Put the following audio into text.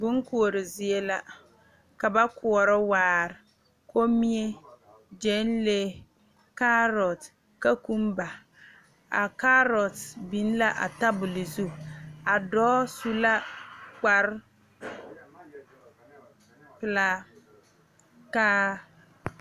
Bon koɔre zie la ka ba koɔrɔ waare kommie gyɛnlee kaarɔt kakumbaa kaarɔt biŋ la a tabole zu a dɔɔ su la kparepelaa kaa.